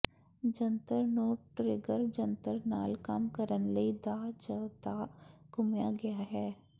ਜੰਤਰ ਨੂੰ ਟਰਿੱਗਰ ਜੰਤਰ ਨਾਲ ਕੰਮ ਕਰਨ ਲਈ ਦਾਅ ਜ ਦਾਅ ਘੁੰਮਾਇਆ ਗਿਆ ਹੈ